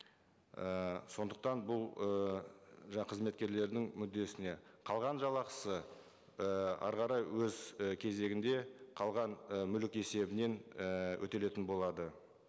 ііі сондықтан бұл ыыы қызметкерлердің мүддесіне қалған жалақысы і әрі қарай өз і кезегінде қалған і мүлік есебінен ііі өтелетін болады